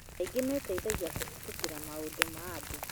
Aingĩ meeteithagia kũhĩtũkĩra maũndũ ma andũ